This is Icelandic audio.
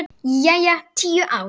Jæja, tíu ár.